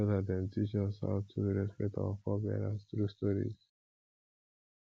elder dem dey teach us how to respect our forebears through stories